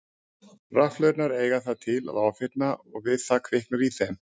Rafhlöðurnar eiga það til að ofhitna og við það kviknar í þeim.